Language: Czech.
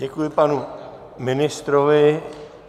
Děkuji panu ministrovi.